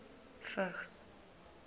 vigs